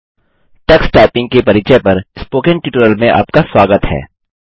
Tux typing Tux typing के परिचय पर स्पोकन ट्यूटोरियल में आपका स्वागत है